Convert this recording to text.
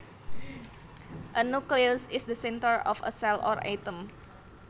A nucleus is the center of a cell or atom